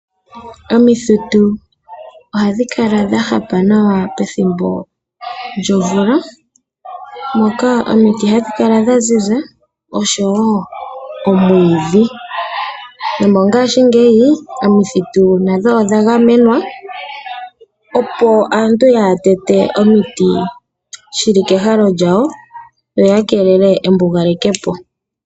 Omithitu ohadhi kala dha hapa nawa pethimbo lyomvula. Moka omiti hadhi kala dha ziza oshowo omwiidhi. Nomongashingeyi omithitu nadho odha gamwenwa, opo aantu yaa tete omiti shili kehalo lyawo, yo ya kelele embugalekepo.